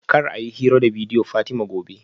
Kar a yi hira da bidiyo Fatima gobe